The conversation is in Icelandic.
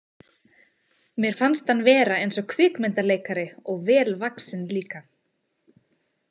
Mér fannst hann vera eins og kvikmyndaleikari og vel vaxinn líka.